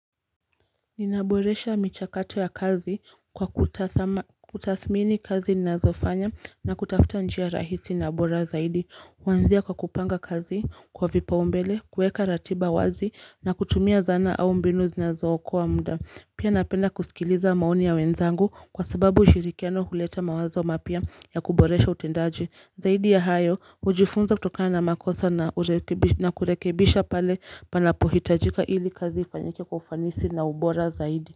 Ninaboresha michakato ya kazi kwa kutathmini kazi nazofanya na kutafuta njia rahisi na bora zaidi Wanzia kwa kupanga kazi kwa vipa umbele, kueka ratiba wazi na kutumia zana au mbinu zinazo okoa mda Pia napenda kusikiliza maoni ya wenzangu kwa sababu ushirikiano huleta mawazo mapya ya kuboresha utendaji Zaidi ya hayo, hujifunza kutoka na makosa na kurekebisha pale panapo hitajika ili kazi ifanyake kwa ufanisi na ubora zaidi.